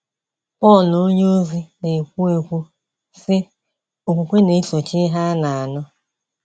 Pọl onyeozi na - ekwu ekwu, sị: “òkwukwe na - esochi ihe a na - anụ́. ”